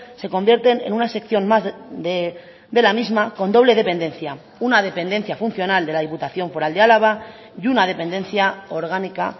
se convierten en una sección más de la misma con doble dependencia una dependencia funcional de la diputación foral de álava y una dependencia orgánica